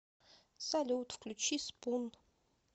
салют включи спун